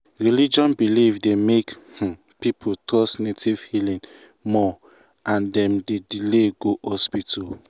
religion belief dey make um people trust native healing more and dem dey delay go hospital. um